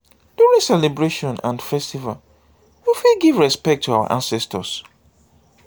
during celebration and festival we fit give respect to our ancestors